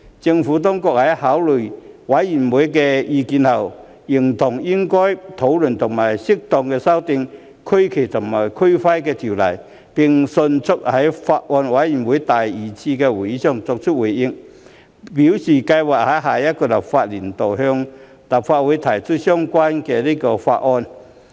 政府當局在考慮委員的意見後，認同應討論和適度修訂《區旗及區徽條例》，並迅速在法案委員會第二次會議上作出回應，表示計劃在下一個立法年度向立法會提交相關法案。